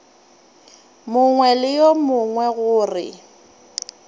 mongwe le yo mongwe gore